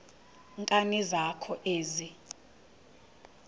nkani zakho ezi